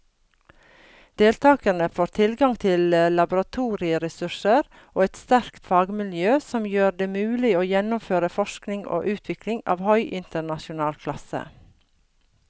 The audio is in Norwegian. Deltakerne får tilgang til laboratorieressurser og et sterkt fagmiljø som gjør det mulig å gjennomføre forskning og utvikling av høy internasjonal klasse.